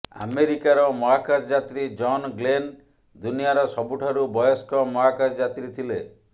ଆମେରିକାର ମହାକାଶ ଯାତ୍ରୀ ଜନ ଗ୍ଲେନ ଦୁନିଆର ସବୁଠାରୁ ବୟସ୍କ ମହାକାଶ ଯାତ୍ରୀ ଥିଲେ